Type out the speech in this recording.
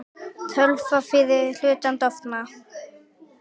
Töfrar fyrri hlutans dofna.